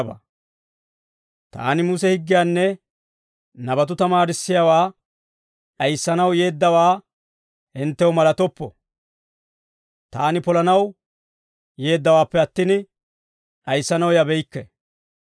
«Taani Muse higgiyaanne nabatuu tamaarissiyaawaa d'ayissanaw yeeddawaa hinttew malatoppo; taani polanaw yeeddawaappe attin, d'ayissanaw yabeykke.